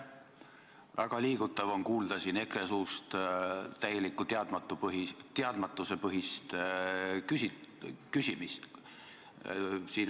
Väga liigutav on siin kuulda EKRE-lt täielikult teadmatusepõhist küsimist.